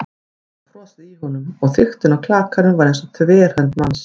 Það var frosið í honum- og þykktin á klakanum var eins og þverhönd manns.